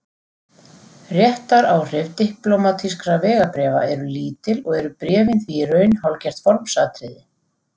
Réttaráhrif diplómatískra vegabréfa eru lítil og eru bréfin því í raun hálfgert formsatriði.